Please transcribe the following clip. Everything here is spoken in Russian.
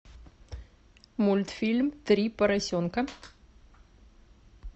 мультфильм три поросенка